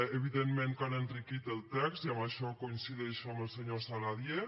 evidentment que han enriquit el text i en això coincideixo amb el senyor saladié